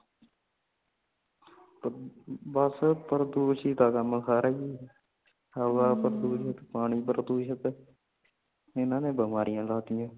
ਬਸ ਪ੍ਰਦੂਸ਼ਿਤ ਕਾਮ ਸਾਰਾ ਹੀ ਹਵਾ ਪ੍ਰਦੂਸ਼ਿਤ ਪਾਣੀ ਪ੍ਰਦੂਸ਼ਿਤ ਇਹਨਾਂ ਨੇ ਬਮਾਰੀਆਂ ਕਰਤਿਆ